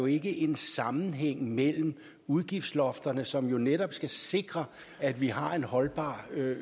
ikke en sammenhæng mellem udgiftslofterne som jo netop skal sikre at vi har en holdbar